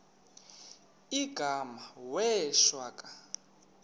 igama wee shwaca